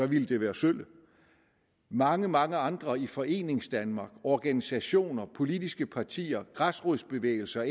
ville det være sølle mange mange andre i foreningsdanmark organisationer politiske partier græsrodsbevægelser